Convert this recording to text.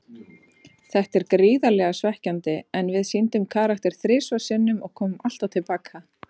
Þetta er gríðarlega svekkjandi, en við sýndum karakter þrisvar sinnum og komum alltaf til baka.